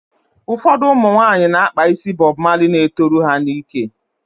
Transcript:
Ụfọdụ ụmụnwaanyị na-akpa ísí Bọb Mali na-etoru ha n'íkè.